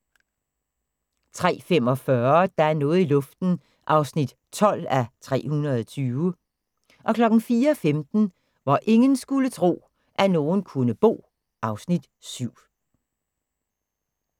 03:45: Der er noget i luften (12:320) 04:15: Hvor ingen skulle tro, at nogen kunne bo (Afs. 7)